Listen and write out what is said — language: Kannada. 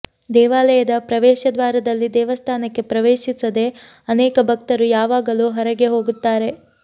ದೇವಾಲಯದ ಪ್ರವೇಶದ್ವಾರದಲ್ಲಿ ದೇವಸ್ಥಾನಕ್ಕೆ ಪ್ರವೇಶಿಸದೆ ಅನೇಕ ಭಕ್ತರು ಯಾವಾಗಲೂ ಹೊರಗೆ ಹೋಗುತ್ತಾರೆ